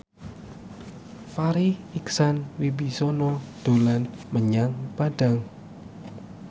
Farri Icksan Wibisana dolan menyang Padang